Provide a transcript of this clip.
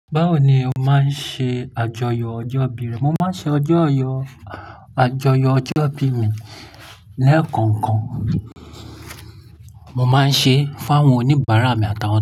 Báwo ni o máa ń ṣe àjọyọ̀ ọjọ́ ìbí rẹ? Mo máa ń ṣe ọjọ́yọ̀, àjọyọ̀ ọjọ́ ìbí mi lẹ́ẹ̀kọ̀kan. Mo máa ń ṣe fún àwọn oníbàárà mi àtàwọn ẹbí.